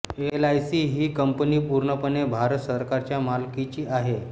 LIC ही company पूर्णपणे भारत सरकारच्या मालकीची आहे